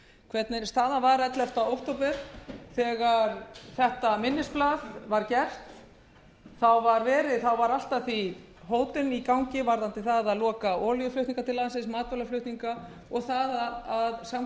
hvernig staðan var ellefta október þegar þetta minnisblað var gert þá var allt að því hótun í gangi varðandi það að loka á olíuflutninga til landsins matvælaflutninga og það að samkomulagið við alþjóðagjaldeyrissjóðinn var í algjöru